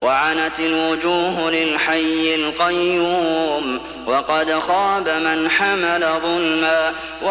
۞ وَعَنَتِ الْوُجُوهُ لِلْحَيِّ الْقَيُّومِ ۖ وَقَدْ خَابَ مَنْ حَمَلَ ظُلْمًا